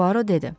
Puaro dedi.